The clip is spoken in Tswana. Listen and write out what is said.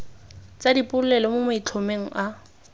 tsa dipolelo mo maitlhomong a